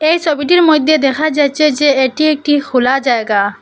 এই ছবিটির মইধ্যে দেখা যাচ্ছে যে এটি একটি খোলা জায়গা।